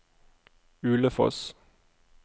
Ulefoss